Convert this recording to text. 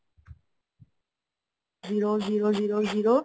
zero zero zero zero